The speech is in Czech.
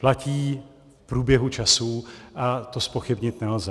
Platí v průběhu časů a to zpochybnit nelze.